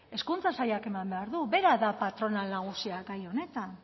hezkuntza sailak eman behar du bera da patronal nagusia gai honetan